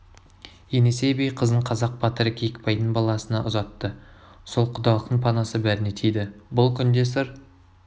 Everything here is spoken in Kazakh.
енесей би қызын қазақ батыры киікбайдың баласына ұзатты сол құдалықтың панасы бәріне тиді бұл күнде сыр